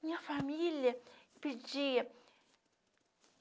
Minha família pedia.